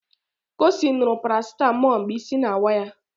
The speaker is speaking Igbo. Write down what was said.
Kosi ṅụrụ parasetamol mgbe isi na-awa ya